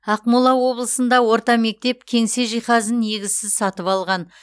ақмола облысында орта мектеп кеңсе жиһазын негізсіз сатып алған